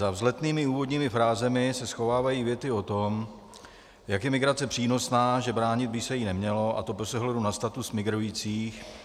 Za vzletnými úvodními frázemi se schovávají věty o tom, jak je migrace přínosná, že bránit by se jí nemělo, a to bez ohledu na status migrujících.